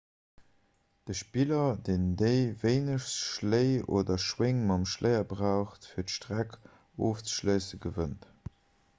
de spiller deen déi wéinegst schléi oder schwéng mam schléier brauch fir d'streck ofzeschléissen gewënnt